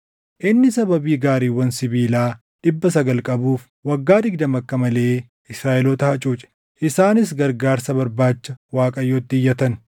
Inni sababii gaariiwwan sibiilaa dhibba sagal qabuuf waggaa digdama akka malee Israaʼeloota hacuuce; isaanis gargaarsa barbaacha Waaqayyotti iyyatan.